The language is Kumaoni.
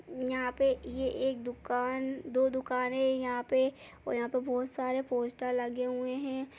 यहाँ पे ये एक दुकान दो दुकान है यहाँ पे और यहाँ पे बहोत सारे पोस्टर लगे हुए हैं।